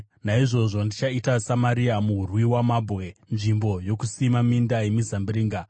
“Naizvozvo ndichaita Samaria murwi wamabwe, nzvimbo yokusima minda yemizambiringa.